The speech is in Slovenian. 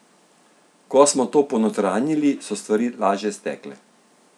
Ko smo to ponotranjili, so stvari lažje stekle.